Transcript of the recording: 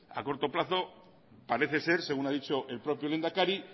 a corto plazo parece ser según ha dicho el propio lehendakari